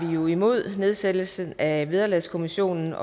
vi jo imod nedsættelsen af vederlagskommissionen